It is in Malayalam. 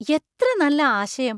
എത്ര നല്ല ആശയം!